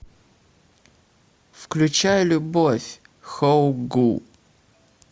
включай любовь хо гу